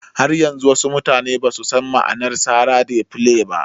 Har yanzu wasu mutane basu san ma'anar sara "Dey play" ba